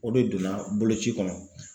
O de donna boloci kɔnɔ.